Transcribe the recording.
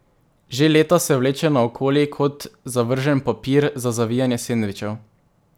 Že leta se vleče naokoli kot zavržen papir za zavijanje sendvičev.